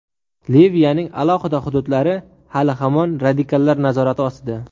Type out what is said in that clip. Liviyaning alohida hududlari hali-hamon radikallar nazorati ostida.